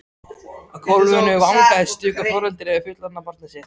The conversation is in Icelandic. Á gólfinu vangaði stöku foreldri við fullorðið barn sitt.